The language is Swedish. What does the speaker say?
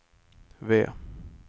V